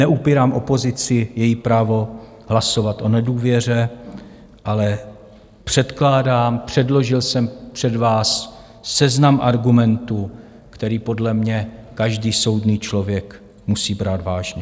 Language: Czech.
Neupírám opozici její právo hlasovat o nedůvěře, ale předkládám, předložil jsem před vás seznam argumentů, který podle mě každý soudný člověk musí brát vážně.